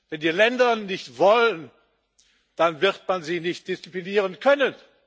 Wenn die Länder nicht wollen, dann wird man sie nicht disziplinieren können.